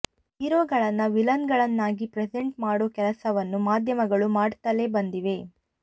ಹೀರೋಗಳನ್ನು ವಿನಲ್ ಗಳನ್ನಾಗಿ ಪ್ರೆಸೆಂಟ್ ಮಾಡೋ ಕೆಲಸವನ್ನು ಮಾಧ್ಯಮಗಳು ಮಾಡ್ತಲೇ ಬಂದಿವೆ